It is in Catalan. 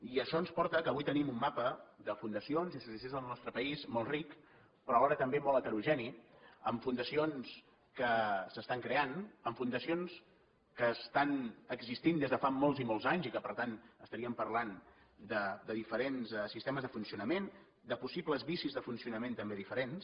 i això ens porta que avui tenim un mapa de fundacions i associacions en el nostre país molt ric però alhora també molt heterogeni amb fundacions que s’estan creant amb fundacions que estan existint des de fa molts i molts anys i que per tant estaríem parlant de diferents sistemes de funcionament de possibles vicis de funcionament també diferents